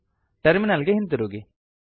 terminal ಗೆ ಹಿಂತಿರುಗಿ